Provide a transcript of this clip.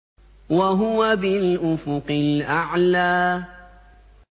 وَهُوَ بِالْأُفُقِ الْأَعْلَىٰ